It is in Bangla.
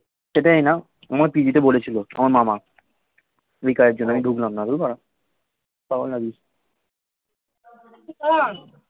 সেটাই না আমায় পিজিতে বলেছিল আমার মামা ওই কাজের জন্য ধুর বাড়া পাগল নাকি